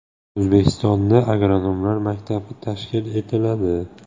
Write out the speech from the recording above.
O‘zbekistonda agronomlar maktabi tashkil etiladi.